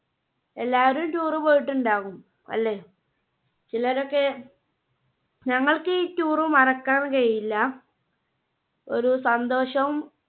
എല്ലാവരും tour പോയിട്ടുണ്ടാകും അല്ലേ? ചിലരൊക്കെ ഞങ്ങൾക്കീ tour മറക്കാൻ കഴിയില്ല ഒരു സന്തോഷവും